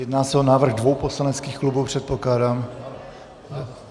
Jedná se o návrh dvou poslaneckých klubů, předpokládám?